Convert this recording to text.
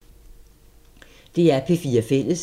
DR P4 Fælles